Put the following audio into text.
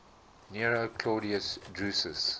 nero claudius drusus